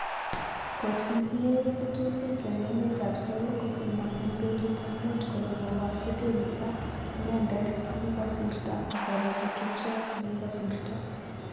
kot nekiyae ketutik en emet ap Seoul kokimwa en petut ap mut kole koparchi tekisto identet kekikosirto ak kora che tupchoak chekikosirto